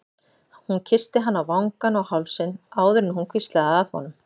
Hún kyssti hann á vangann og hálsinn áður en hún hvíslaði að honum